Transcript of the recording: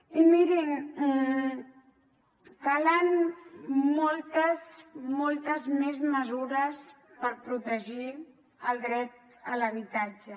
i mirin calen moltes moltes moltes més mesures per protegir el dret a l’habitatge